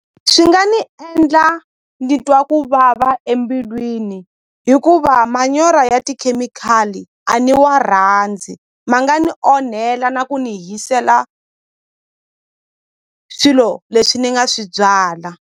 Swi nga ni endla ni twa ku vava embilwini hikuva manyora ya tikhemikhali a ni wa rhandzi ma nga ni onhela na ku ni hisela swilo leswi ni nga swi byala.